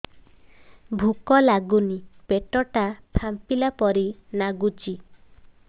ଭୁକ ଲାଗୁନି ପେଟ ଟା ଫାମ୍ପିଲା ପରି ନାଗୁଚି